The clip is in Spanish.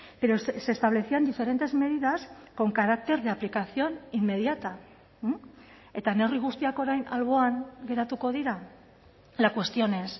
pero se establecían diferentes medidas con carácter de aplicación inmediata eta neurri guztiak orain alboan geratuko dira la cuestión es